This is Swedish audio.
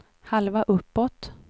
halva uppåt